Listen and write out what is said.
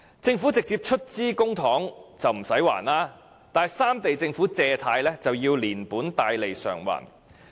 政府直接出資的公帑不用償還，但三地政府的借貸卻要連本帶利償還。